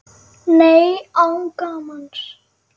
Nei, án gamans.